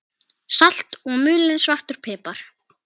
Salt og mulinn svartur pipar